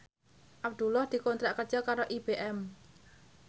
Abdullah dikontrak kerja karo IBM